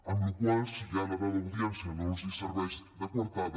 amb la qual cosa si ja la dada d’audiència no els serveix de coartada